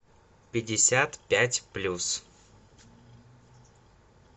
пятьдесят пять плюс